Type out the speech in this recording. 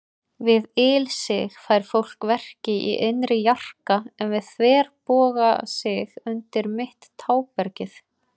Við ilsig fær fólk verki í innri jarka, en við þverbogasig undir mitt tábergið.